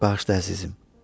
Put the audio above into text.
Bağışla əzizim.